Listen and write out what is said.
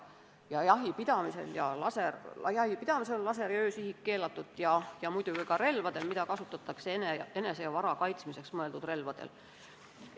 Jahipidamisel on laser- ja öösihik keelatud ning keelatud on see muidugi ka enese ja vara kaitsmiseks kasutatavatel relvadel.